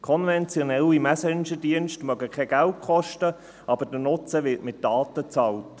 Konventionelle Messengerdienste mögen kein Geld kosten, aber der Nutzen wird mit Daten bezahlt.